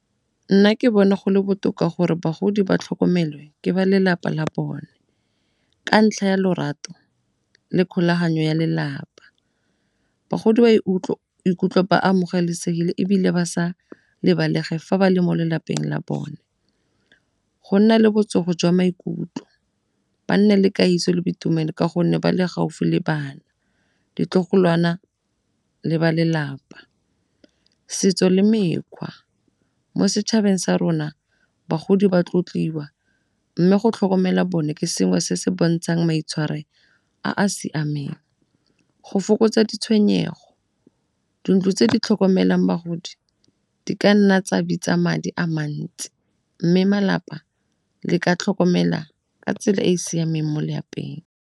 Nna ke bona go le botoka gore bagodi ba tlhokomelwe ke ba lelapa la bone ka ntlha ya lorato le kgolaganyo ya lelapa. Bagodi ba ikutlwa ba amogelesegile ebile ba sa lebalege fa ba le mo lelapeng la bone, go nna le botsogo jwa maikutlo, ba nne le kagiso le boitumelo ka gonne ba le gaufi le bana, ditlogolwana le ba lelapa. Setso le mekgwa mo setšhabeng sa rona bagodi ba tlotliwa mme go tlhokomela bone ke sengwe se se bontshang maitshwaro a a siameng. Go fokotsa ditshwenyego, dintlo tse di tlhokomelang bagodi di ka nna tsa bitsa madi a mantsi mme malapa le ka tlhokomela ka tsela e e siameng mo lapeng.